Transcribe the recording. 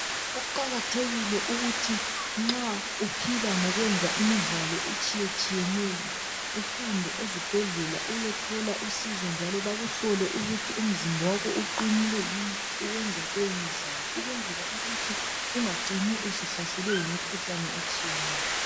Kuqakathekile ukuthi nxa uphila ngokwenza imidlalo etshiyatshiyeneyo uhambe ezibhedlela uyethola usizo njalo bakuhlole ukuthi umzimba wakho uqinile yini ukwenza lowo mdlalo ukwenzela ukuthi ungacini usuhlaselwe yimkhuhlane etshiyeneyo.